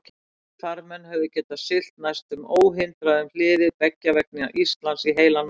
Þýskir farmenn höfðu getað siglt næsta óhindrað um hliðið beggja vegna Íslands í heilan mánuð.